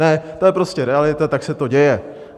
Ne, to je prostě realita, tak se to děje.